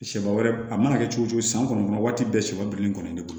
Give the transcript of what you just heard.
Sɛba wɛrɛ a mana kɛ cogo cogo san kɔnɔ waati bɛɛ sɔ bilennen kɔni ne bolo